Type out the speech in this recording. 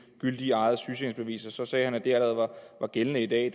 gyldigt eget sygesikringsbevis så sagde han at det allerede var gældende i dag